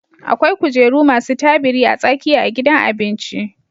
Akwai kujeru masu tabiri a tsakiya a gidan abinci